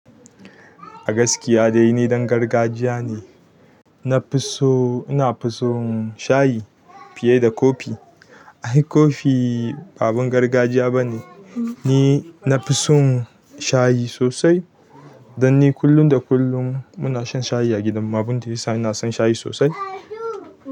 Agaskiya dai ni ɗan gargajiya ne. Nafiso, inafi son shayi fiye da kofi. Ai kofi ba abun gargajiya bane. Ni nafi son shayi sosai. Dan ni kullum da kullum muna shan shayi a gidanmu abinda yasa ina son shayi sosai.